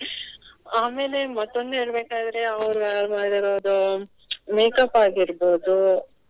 ಆಮೇಲೆ ಮತ್ತೊಂದು ಹೇಳ್ಬೆಕಾದ್ರೆ ಅವ್ರು ಮಾಡಿರುದು makeup ಆಗಿರ್ಬಹುದು.